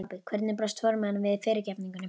Hvernig brást formaðurinn við fyrirgefningunni?